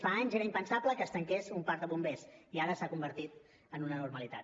fa anys era impensable que es tanqués un parc de bombers i ara s’ha convertit en una normalitat